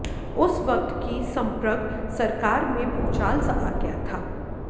उस वक्त की संप्रग सरकार में भुचाल सा आ गया था